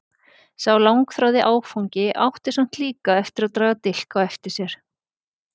Sá langþráði áfangi átti samt líka eftir að draga dilk á eftir sér.